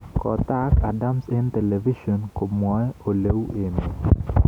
Kotaak Adams eng television komwae oleu emet